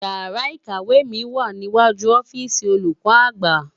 Ìyàrá ikèékò mi wá niwájú òfisi ólúkò ágbá